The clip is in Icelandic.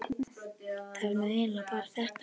það var nú eiginlega bara þetta.